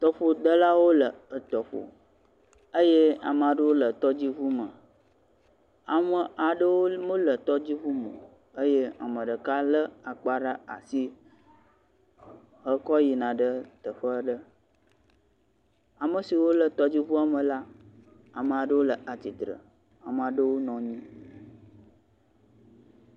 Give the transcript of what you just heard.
Tɔƒodelawo le etɔƒo eye ame aɖewo le etɔdziŋume, ame aɖewo mele etɔdziŋu me o eye ame ɖeka le akpa ɖe asi ekɔ yina ɖe teƒe aɖe. Ame siwo le tɔdziŋu me la, ame aɖewo le atsitre, ame aɖewo nɔ anyi.